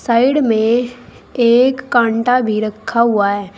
Side में एक कांडा भी रखा हुआ है।